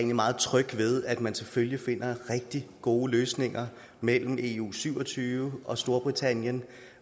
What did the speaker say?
meget tryg ved at man selvfølgelig finder rigtig gode løsninger mellem eu syv og tyve og storbritannien